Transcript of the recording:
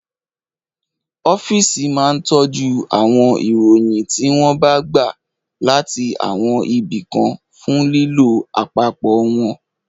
Ọ́físì máa ń tọ́jú àwọn ìròyìn tí wọ́n bá gbà láti àwọn ibi kan fún lílò àpapọ̀ wọn